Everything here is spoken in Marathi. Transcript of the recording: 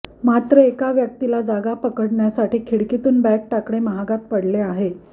मात्र एका व्यक्तीला जागा पकडण्यासाठी खिकीतून बॅग टाकणे महागात पडले आहे